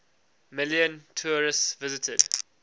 million tourists visited